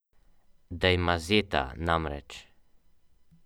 Slovenija je na lestvici eko inovativnih držav sedma.